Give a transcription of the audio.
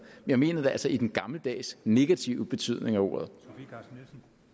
jeg mener det altså i den gammeldags negative betydning af ordet